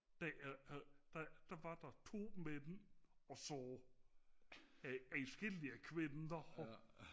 der var der to mænd og så adskillige kvinder